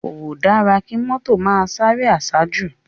Kódá ki mòtó má sáré àsájú